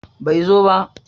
Bai zo ba.